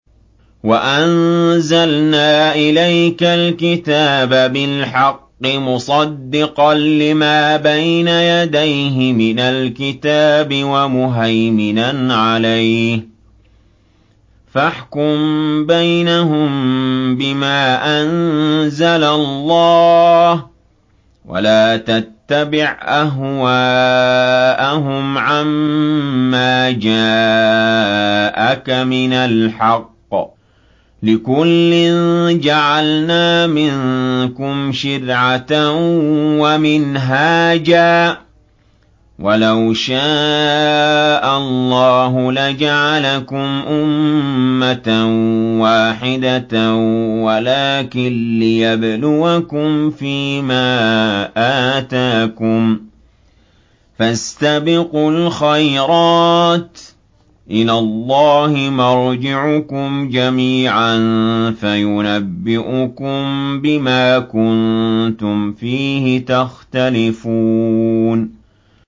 وَأَنزَلْنَا إِلَيْكَ الْكِتَابَ بِالْحَقِّ مُصَدِّقًا لِّمَا بَيْنَ يَدَيْهِ مِنَ الْكِتَابِ وَمُهَيْمِنًا عَلَيْهِ ۖ فَاحْكُم بَيْنَهُم بِمَا أَنزَلَ اللَّهُ ۖ وَلَا تَتَّبِعْ أَهْوَاءَهُمْ عَمَّا جَاءَكَ مِنَ الْحَقِّ ۚ لِكُلٍّ جَعَلْنَا مِنكُمْ شِرْعَةً وَمِنْهَاجًا ۚ وَلَوْ شَاءَ اللَّهُ لَجَعَلَكُمْ أُمَّةً وَاحِدَةً وَلَٰكِن لِّيَبْلُوَكُمْ فِي مَا آتَاكُمْ ۖ فَاسْتَبِقُوا الْخَيْرَاتِ ۚ إِلَى اللَّهِ مَرْجِعُكُمْ جَمِيعًا فَيُنَبِّئُكُم بِمَا كُنتُمْ فِيهِ تَخْتَلِفُونَ